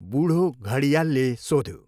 बुढो घडियालले सोध्यो।